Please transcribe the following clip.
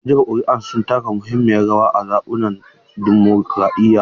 Masu jefa kuri'a suna taka muhimmiyar rawa a zaɓukan dimokuradiyya.